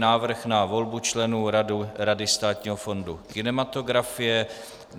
Návrh na volbu členů Rady Státního fondu kinematografie